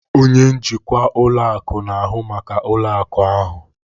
Onye njikwa ụlọ akụ na-ahụ maka ụlọ akụ ahụ.